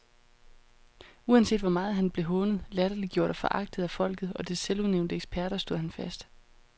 Uanset hvor meget han blev hånet, latterliggjort og foragtet af folket og dets selvudnævnte eksperter, stod han fast.